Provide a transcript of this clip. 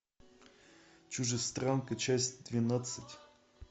чужестранка часть двенадцать